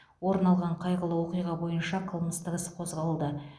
орын алған қайғылы оқиға бойынша қылмыстық іс қозғалды